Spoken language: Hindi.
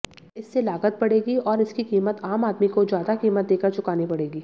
इससे लागत बढ़ेगी और इसकी कीमत आम आदमी को ज्यादा कीमत देकर चुकानी पडेग़ी